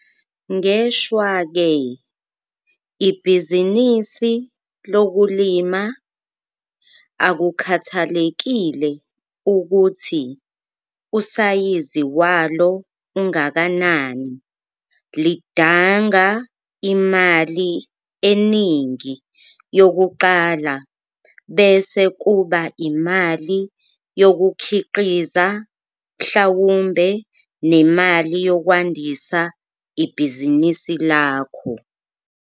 Ngeshwa ke, ibhizinisi lokulima, akukhathalekile ukuthi usayizi walo ungakanani, lidanga imali eningi yokuqala bese kuba imali yokukhiqiza mhlawumbe nemali yokwandisa ibhizinisi lakho.